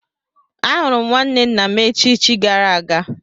Ahụrụ m nwanne nna m echichi gara aga.